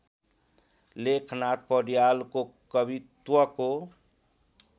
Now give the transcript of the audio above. लेखनाथ पौड्यालको कवित्वको